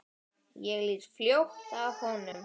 Ég lít fljótt af honum.